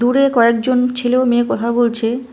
দূরে কয়েকজন ছেলে ও মেয়ে কথা বলছে।